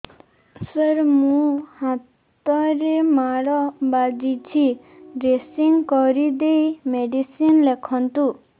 ସାର ମୋ ହାତରେ ମାଡ଼ ବାଜିଛି ଡ୍ରେସିଂ କରିଦେଇ ମେଡିସିନ ଲେଖନ୍ତୁ